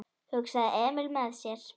hugsaði Emil með sér.